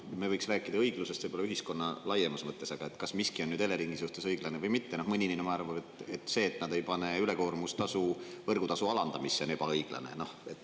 Me võiks rääkida õiglusest võib-olla ühiskonna laiemas mõttes, aga kas miski on Eleringi suhtes õiglane või mitte – noh, mõni inimene arvab, et see, et nad ei pane ülekoormustasu võrgutasu alandamisse, on ebaõiglane.